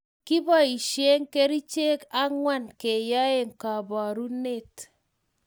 Kipoishe kerchek ang'wan kenyai kaparunet